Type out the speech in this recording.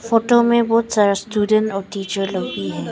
Photo में बहुत सारा स्टूडेंट और टीचर लोग भी है।